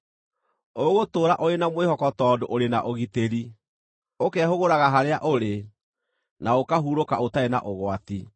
Ũgũtũũra ũrĩ na mwĩhoko tondũ ũrĩ na ũgitĩri, ũkehũgũraga harĩa ũrĩ, na ũkahurũka ũtarĩ na ũgwati.